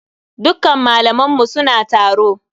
Dukkan malaman mu suna taro.